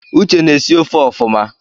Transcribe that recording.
Uche na-esi ofe ọfụma